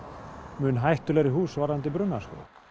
mun hættulegri hús varðandi bruna